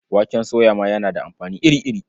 Waken soya ma yana da amfani iri-iri.